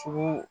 Sogo